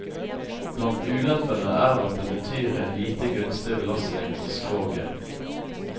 Blant ulempene er at det betyr en lite gunstig belastning for skroget.